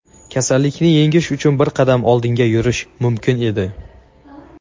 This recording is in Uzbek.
kasallikni yengish uchun bir qadam oldinga yurish mumkin edi.